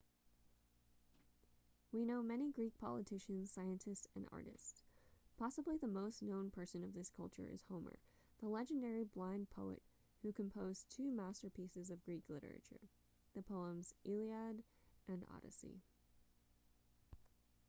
we know many greek politicians scientists and artists possibly the most known person of this culture is homer the legendary blind poet who composed two masterpieces of greek literature the poems iliad and odyssey